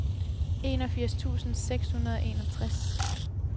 enogfirs tusind seks hundrede og enogtres